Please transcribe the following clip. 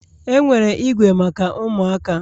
Enwere igwe maka ụmụaka